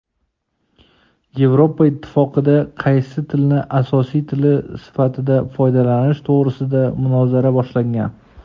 Yevropa Ittifoqida qaysi tilni asosiy tili sifatida foydalanish to‘g‘risida munozara boshlangan.